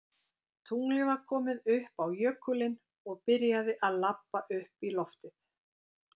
Tunglið var komið upp á jökulinn og byrjaði að labba upp í loftið.